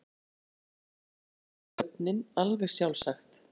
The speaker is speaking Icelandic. Jú, sagði þjónninn, alveg sjálfsagt.